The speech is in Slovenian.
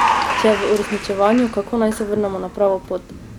Če je v uresničevanju, kako naj se vrnemo na pravo pot?